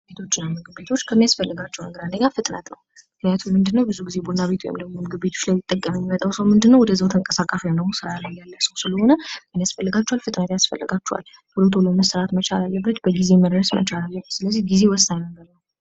ቡና ቤቶችና ምግብ ቤቶች ከሚያስፈልጋቸው ነገሮች አንደኛ ፍጥነት ነው ምክንያቱም ቡና ቤቶችን ሊጠቀም የሚመጣው ሰው ምንድ ነው፦ ተንቀሳቃሽ የሆነ ወይም ስራ ላይ ያለ ሰው ስለሆነ ፍጥነት ያስፈልጋቸዋል ቶሎ ቶሎ መስራት መቻል፥ ወይም በጊዜ መድረስ መቻል አለበት ስለዚህ ጊዜ ወሳኝ ነገር ነው።